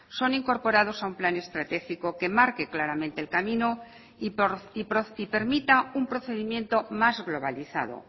son incorporados a un plan estratégico que marque claramente el camino y permita un procedimiento más globalizado